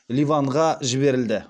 ливанға жіберілді